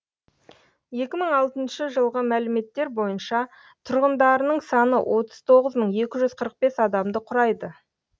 екі мың алтыншы жылғы мәліметтер бойынша тұрғындарының саны отыз тоғыз мың екі жүз қырық бес адамды құрайды